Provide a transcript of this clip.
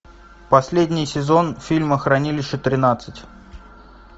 последний сезон фильма хранилище тринадцать